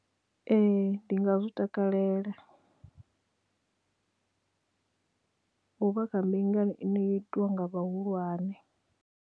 Ee ndi nga zwi takalela u vha kha mbingano ine i itiwa nga vhahulwane.